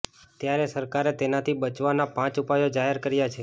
ત્યારે સરકારે તેનાથી બચવાના પાંચ ઉપાયો જાહેર કર્યા છે